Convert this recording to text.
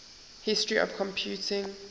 history of computing